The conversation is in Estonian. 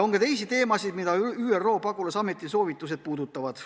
On ka teisi teemasid, mida ÜRO pagulasameti soovitused puudutavad.